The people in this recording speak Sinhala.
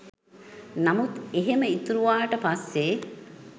නමුත් එහෙම ඉතුරුවාට පස්සේ